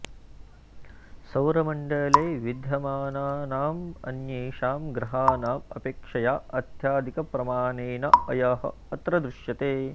सौरमण्डले विद्यमानानाम् अन्येषां ग्रहाणाम् अपेक्षया अत्यधिकप्रमाणेन अयः अत्र दृश्यते